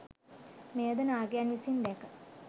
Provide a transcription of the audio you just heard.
මෙය ද නාගයන් විසින් දැක